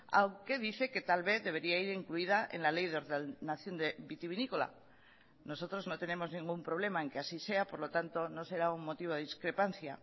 aunque dice que tal vez debería ir incluida en la ley de ordenación vitivinícola nosotros no tenemos ningún problema en que así sea por lo tanto no será un motivo de discrepancia